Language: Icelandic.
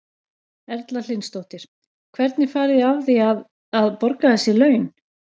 Erla Hlynsdóttir: Hvernig farið þið að því að, að borga þessi laun?